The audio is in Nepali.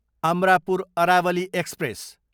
अमरापुर अरावली एक्सप्रेस